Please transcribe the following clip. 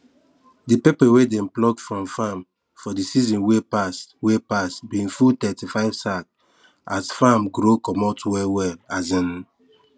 de pepper wey dem pluck from farm for de season wey pass wey pass bin full thirtyfive sack as farrm grow comot well well um